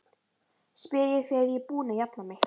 spyr ég þegar ég er búin að jafna mig.